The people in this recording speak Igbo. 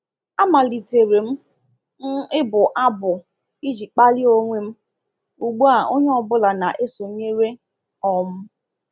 A malitere m m ịbụ abụ iji kpalie onwe m—ugbu a onye ọ bụla na-esonyere. um